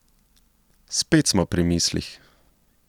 Spet smo pri mislih.